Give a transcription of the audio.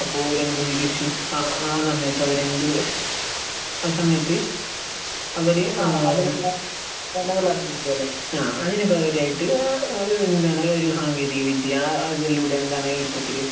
അപ്പൊ അവരെന്തു സ്ഥിതീകരിച്ചു ആഹ് ഒരു സമയത്ത് അവരെന്ത് ആഹ് സമയത്ത് അവര് ആഹ് അതിന് പകരമായിട്ട് എന്താണ് ഏഹ് ഒരു സാങ്കേന്തിക വിദ്യ അതിലൂടെ എന്താണ് ഇപ്പൊത്തില്